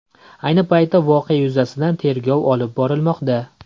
Ayni paytda voqea yuzasidan tergov olib borilmoqda.